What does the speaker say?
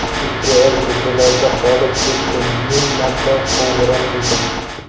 Ikki oy ko‘chalarda qolib ketdim, ming marta qo‘ng‘iroq qildim.